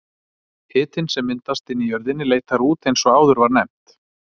Hitinn sem myndast inni í jörðinni leitar út eins og áður var nefnt.